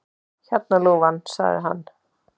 Hérna, ljúfan, sagði hann.